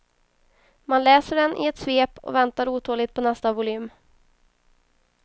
Man läser den i ett svep och väntar otåligt på nästa volym.